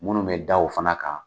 Munnu bɛ da o fana kan.